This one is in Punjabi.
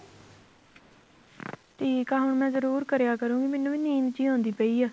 ਠੀਕ ਆ ਹੁਣ ਮੈਂ ਜਰੂਰ ਕਰਿਆ ਕਰੂਗੀ ਮੈਨੂੰ ਵੀ ਨੀਂਦ ਜੀ ਆਉਦੀ ਪਈ ਆ